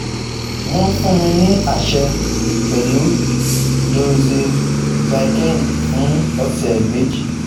Wọ́n fún mi ní àṣẹ pẹ̀lú Doxycycline fún ọ̀sẹ̀ méjì